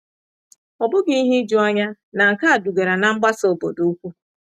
Ọ bụghị ihe ijuanya na nke a dugara ná mgbasa obodo ukwu.